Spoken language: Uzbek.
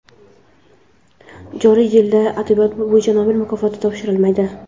Joriy yilda adabiyot bo‘yicha Nobel mukofoti topshirilmaydi.